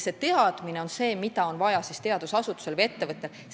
Seda teadmist on vaja teadusasutusel või ettevõttel.